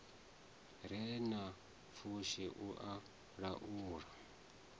re na pfushi u laula